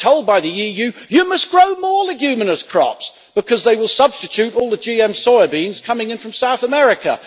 Yet we are told by the EU you must grow more leguminous crops' because they will substitute for all the GM soya beans coming in from South America.